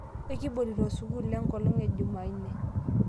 ekibolito sukul enkolong ejumauni